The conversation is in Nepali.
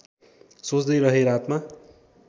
सोच्दै रहेँ रातमा